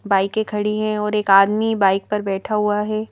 बाइकेें खड़ी हैं और एक आदमी बाइक पर बैठा हुआ है।